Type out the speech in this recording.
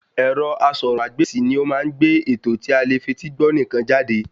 Ẹ̀rọ asọ̀rọ̀-mágbèsì ni ó má ń gbé ètò tí alè fetí gbọ́ nìkan jáde